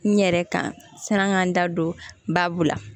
N yɛrɛ kan san k'an da don baabu la